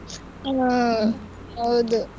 ಹ್ಮ್ ಹೌದು.